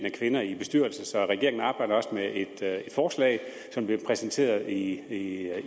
af kvinder i bestyrelser så regeringen arbejder også med et forslag som bliver præsenteret i